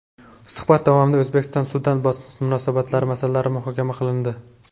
Suhbat davomida O‘zbekiston - Sudan munosabatlari masalalari muhokama qilindi.